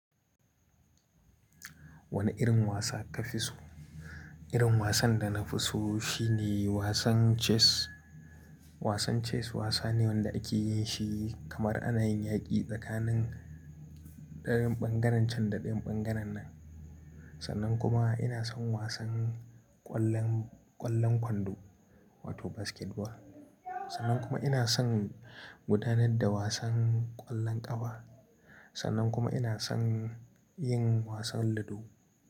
Wane irin wasa ka fi so? Irin wasan da na fi so shine wasan chess. Wasan chess wasa ne wanda ake yin shi kamar ana yin yaƙi tsakanin ɗayan bangaren can da ɗayan bangaren nan. Sannan kuma ina son wasan ƙwallon, ƙwallon kwando wato basketball. Sannan kuma ina son gudanar da wasan ƙwallon ƙafa. Sannan kuma ina son yin wasan ludo.